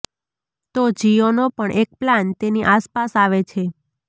તો જિયોનો પણ એક પ્લાન તેની આસપાસ આવે છે